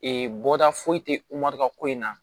Ee bɔta foyi tɛ ka ko in na